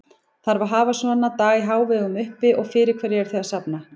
Þarf að hafa svona dag í hávegum uppi og fyrir hverju eruð þið að safna?